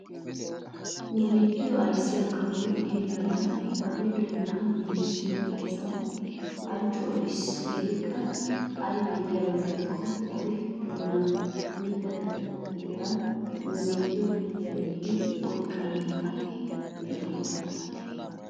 Nu biittiyoo ayssiyaa kawoy inigalla oge doonaa giigissiyoo oossuwaa halchchuwaa odis. Hegeekka aybee giyaaba gidikko oge doonan mittata tokkiyoogan nu biittiyoo puulayidi oyqqana mala giyoogaana.